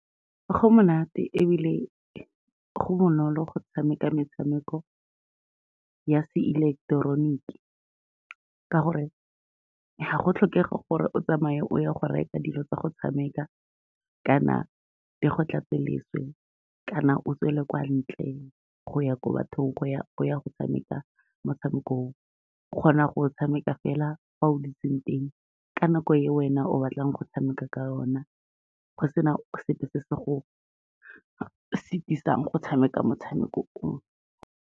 Go monate ebile go bonolo go tshameka metshameko ya seileketeroniki, ka gore ga go tlhokege gore o tsamaye o ye go reka dilo tsa go tshameka kana di go tlatse leswe kana o tswele kwa ntle go ya ko bathong o ya go tshameka motshamekong o, o kgona go tshameka fela fa o dutseng teng, ka nako e wena o batlang go tshameka ka yone, go sena sepe se se go setisang go tshameka motshameko o.